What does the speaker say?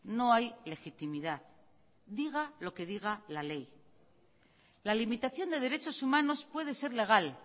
no hay legitimidad diga lo que diga la ley la limitación de derechos humanos puede ser legal